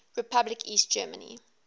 republic east germany